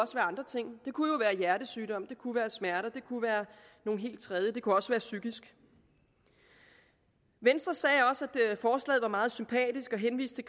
andre ting det kunne være en hjertesygdom det kunne være smerter det kunne være noget helt tredje og det kunne også være psykisk venstre sagde også at forslaget var meget sympatisk henviste